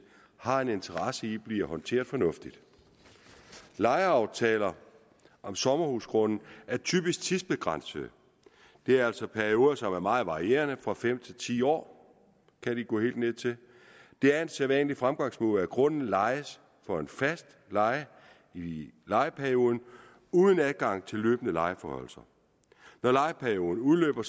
har en interesse i bliver håndteret fornuftigt lejeaftaler om sommerhusgrunde er typisk tidsbegrænsede det er altså perioder som er meget varierende fra fem til ti år kan de gå helt ned til det er en sædvanlig fremgangsmåde at grunden lejes for en fast leje i lejeperioden uden adgang til løbende lejeforhøjelser når lejeperioden udløber